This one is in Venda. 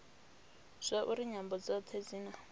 zwauri nyambo dzothe dzi na